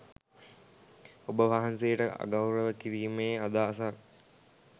ඔබවහන්සේට අගෞරව කිරීමේ අදහසක්